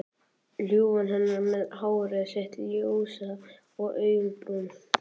Ljúfan hennar með hárið sitt ljósa og augun brún.